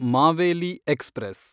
Maveli express